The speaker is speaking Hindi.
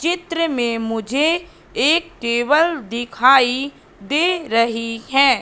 चित्र में मुझे एक टेबल दिखाई दे रही है।